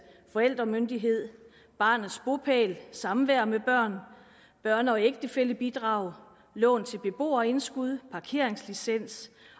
forældremyndighed barnets bopæl samvær med børn børne og ægtefællebidrag lån til beboerindskud parkeringslicens